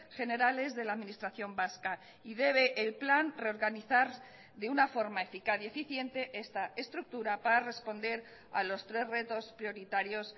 generales de la administración vasca y debe el plan reorganizar de una forma eficaz y eficiente esta estructura para responder a los tres retos prioritarios